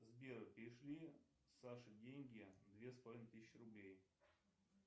сбер перешли саше деньги две с половиной тысячи рублей